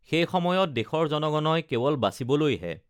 সেই সময়ত দেশৰ জনগণই কে‌ৱল বাচিবলৈহে